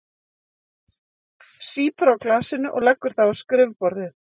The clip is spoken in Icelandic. Sýpur á glasinu og leggur það á skrifborðið.